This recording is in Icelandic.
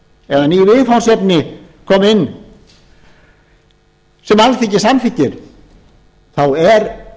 eða ný viðfangsefni komi inn sem alþingi samþykkir þá er